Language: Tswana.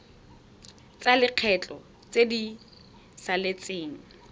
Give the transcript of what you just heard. tsa lekgetho tse di saletseng